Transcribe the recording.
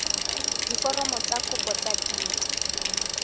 diforomo tsa kopo tse dint